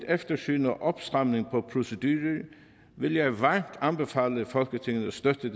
eftersyn og opstramning af proceduren vil jeg varmt anbefale folketinget at støtte det